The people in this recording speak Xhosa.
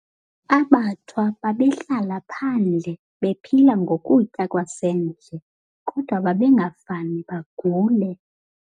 AbaThwa babehlala phandle bephila ngokutya kwasendle kodwa babengafane bagule.